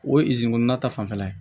O ye kɔnɔna ta fanfɛla ye